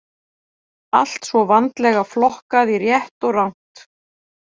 Allt svo vandlega flokkað í rétt og rangt.